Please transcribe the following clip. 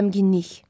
Qəmginlik.